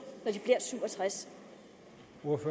når de bliver syv og tres